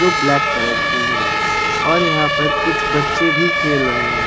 दो black colour की है और यहां पर कुछ बच्चे भी खेल रहे हैं।